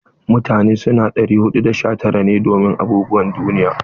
Mutane su na 419 ne domin abubuwan duniya.